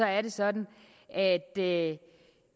er det sådan at at